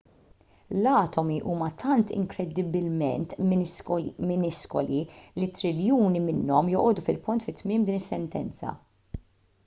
l-atomi huma tant inkredibbilment miniskoli li triljuni minnhom joqogħdu fil-punt fi tmiem din is-sentenza